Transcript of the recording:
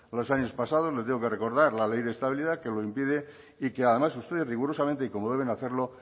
los años pasados le tengo que recordar la ley de estabilidad que lo impide y que además ustedes rigurosamente y como deben hacerlo